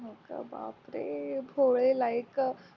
हो का बापरे भोले like a